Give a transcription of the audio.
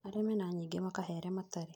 Arĩa mena nyingĩ makahe arĩa matarĩ